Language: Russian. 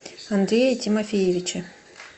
андрее тимофеевиче